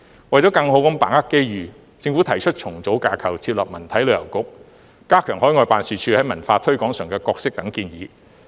為了更好地把握機遇，政府提出重組架構設立文體旅遊局、加強海外辦事處在文化推廣上的角色等建議。